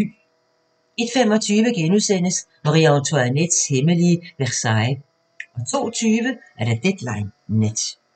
01:25: Marie-Antoinettes hemmelige Versailles * 02:20: Deadline Nat